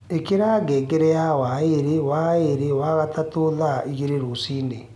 ĩkĩra ngengere ya o waĩrĩ wa mwerĩ wa gatatu thaaĩgĩrĩ rũcĩĩnĩ